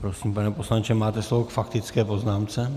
Prosím, pane poslanče, máte slovo k faktické poznámce.